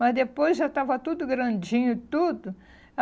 Mas depois já estava tudo grandinho e tudo.